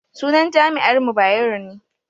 sunan jami'ar mu Bayero ne